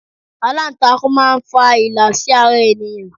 Alantakun máa ń fa ìlà sí ara ènìyàn.